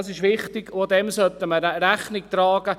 Das ist wichtig, und dem sollte man auch Rechnung tragen.